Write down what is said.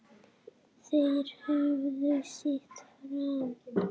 Þeir höfðu sitt fram.